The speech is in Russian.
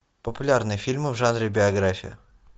популярные фильмы в жанре биография